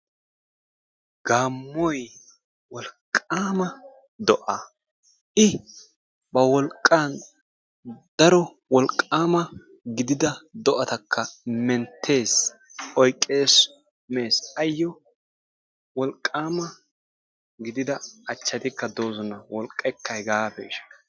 Gaammoyi wolqqaama do"a i ba wolqqaani daro wolqqaama gidida do"atakka menttes, oyqqes, mes. Ayyo wolqqaama gidida achchatikka de"oosona. Wolqqaykka hegaa peeshsha.